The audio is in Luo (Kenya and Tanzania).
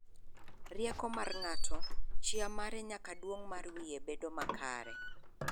Rieko mar ng'ato, chia mare nyaka duong' mar wiye bedo makare.